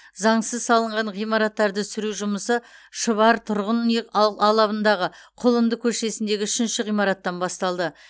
заңсыз салынған ғимараттарды сүру жұмысы шұбар тұрғын үй алабындағы құлынды көшесіндегі үшінші ғимараттан басталды